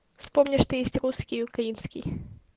вспомни что есть русский украинский